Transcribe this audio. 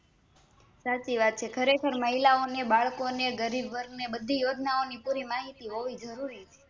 સાચી વાત છે ખરેખર મહિલાઓને બાળકો ને ગરીબવર્ગને યોજના ઓંની માહિતી હોવી જરૂરી છે